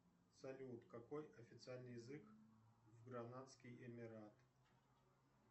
салют какой официальный язык в гранадский эмират